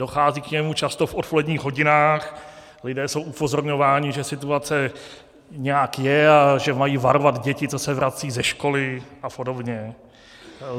Dochází k němu často v odpoledních hodinách, lidé jsou upozorňováni, že situace nějak je a že mají varovat děti, co se vracejí ze školy, a podobně.